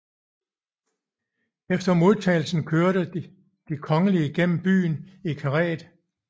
Efter modtagelsen kører de kongelige gennem byen i karet